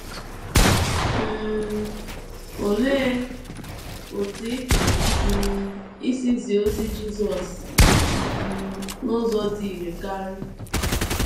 um Olee otú ị pụrụ um isi zie ozi Jisọs um n’ụzọ dị irè karị?